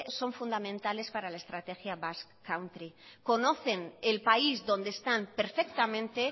son fundamentales para la estrategia basque country conocen el país donde están perfectamente